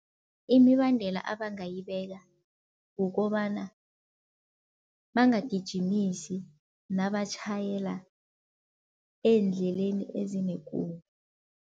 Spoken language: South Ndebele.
Imibandela abangayibeka kukobana bangagijimisi nabatjhayela eendleleni ezinekungu.